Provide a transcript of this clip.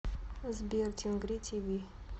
сбер тингри ти ви